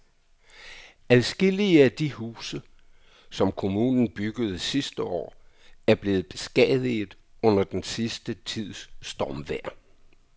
Adskillige af de huse, som kommunen byggede sidste år, er blevet beskadiget under den sidste tids stormvejr.